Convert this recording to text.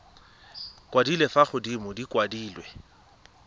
kwadilwe fa godimo di kwadilwe